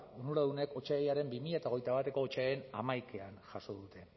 onuradunek bi mila hogeita bateko otsailaren hamaikan jaso dute